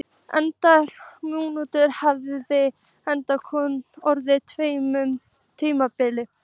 Eldgos á nútíma hafa einkum orðið á tveimur tímabilum.